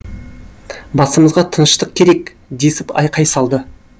басымызға тыныштық керек десіп айқай салды